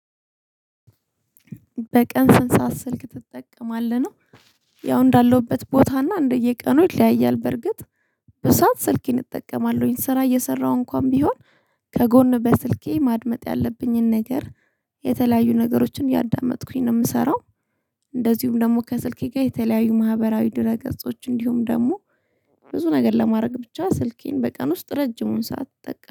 በቀን ስንት ሰዓት ስልክ ትጠቀማለህ ነው። ያው እንዳለሁበት ቦታ እና እንደየቀኑ ይለያያል በርግጥ በሰአት ስልኬን እጠቀማለሁኝ ስራ እየሰራሁ እንኳን ቢሆን ከጎን በስልኬ ማድመጥ ያለብኝን ነገር የተለያዩ ነገሮችን ያእየዳመጥኩኝ ነው የምሰራው። እንደዚሁም ደግሞ ከስልኬ ጋር የተለያዩ ማህበራዊ ድረ ገጾች እንዲሁም ደግሞ ብዙ ነገር ለማድረግ ብቻ ስልኬን በቀን ውስጥ ረጅሙን ሳትጠቀም